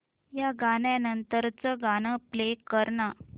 या गाण्या नंतरचं गाणं प्ले कर ना